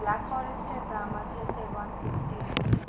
black forest এর দাম আছে sir one fifty rupees